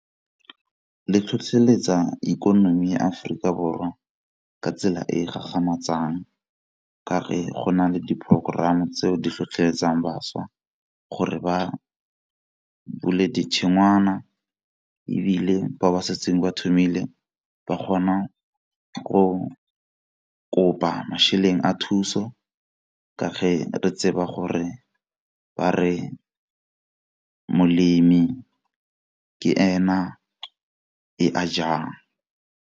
Le tlhotlheletsa ikonomi ya Aforika Borwa ka tsela e e gagamatsang ka go na le di porokoramo tseo di tlhotlheletsang bašwa gore ba bule . Ebile ba ba setseng ba thomile ba kgona go kopa mašeleng a thuso ka ga re tseba gore ba re molemo ke ena e a jang